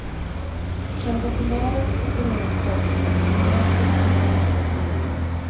Själva tumören opereras bort, men bröstet bevaras om möjligt.